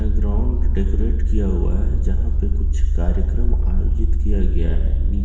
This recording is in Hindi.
एक ग्राउंड डेकोरेट किया हुआ है जहां पे कुछ कार्यक्रम आयोजित किया गया है नीचे-